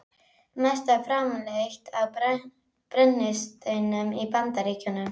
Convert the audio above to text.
Mest er framleitt af brennisteini í Bandaríkjunum